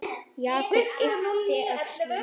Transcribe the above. Jakob yppti öxlum.